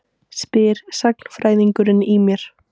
spyr sagnfræðingurinn í mér.